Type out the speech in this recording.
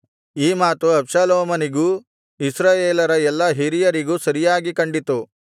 ಈ ಮಾತು ಅಬ್ಷಾಲೋಮನಿಗೂ ಇಸ್ರಾಯೇಲರ ಎಲ್ಲಾ ಹಿರಿಯರಿಗೂ ಸರಿಯಾಗಿ ಕಂಡಿತು